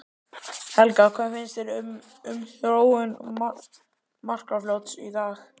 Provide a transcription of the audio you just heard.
Helga: Hvað finnst þér um, um þróun Markarfljóts í dag?